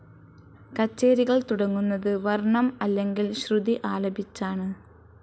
കച്ചേരികൾ തുടങ്ങുന്നത് വർണ്ണം അല്ലെങ്കിൽ ശ്രുതി ആലപിച്ചാണ്.